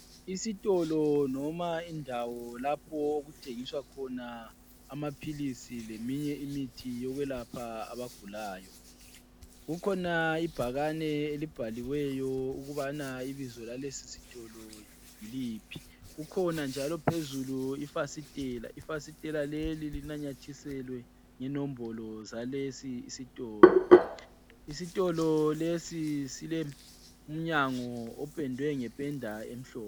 Isitolo noma indawo lapho okuthengiswa khona amaphilisi leminye imithi yokwelapha abagulayo. Kukhona ibhakane elibhaliweyo ukubana ibizo lalesi sitolo yiliphi kukhona njalo phezulu ifasitela, ifasitela leli linamathiselwe inombolo zalesi isitolo isitolo lesi silomnyango opendwe ngependa emhlophe.